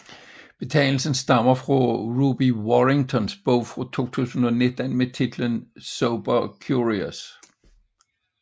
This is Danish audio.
Betegnelsen stammer fra Ruby Warringtons bog fra 2019 med titlen Sober Curious